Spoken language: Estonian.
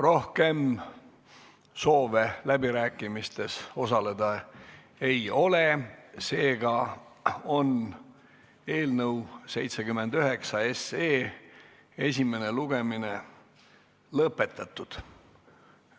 Rohkem soove läbirääkimistel osaleda ei ole, eelnõu 79 esimene lugemine on lõpetatud.